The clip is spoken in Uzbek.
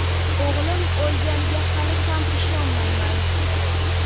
O‘g‘lim o‘lganiga hali ham ishonmayman.